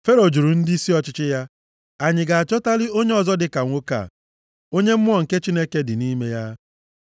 Fero jụrụ ndịisi ọchịchị ya, “Anyị ga-achọtali onye ọzọ dịka nwoke a, onye mmụọ nke Chineke dị nʼime ya?”